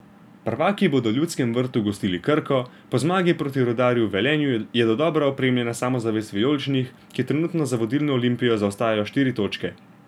Prvaki bodo v Ljudskem vrtu gostili Krko, po zmagi proti Rudarju v Velenju je dodobra okrepljena samozavest vijoličnih, ki trenutno za vodilno Olimpijo zaostajajo štiri točke.